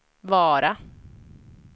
Vara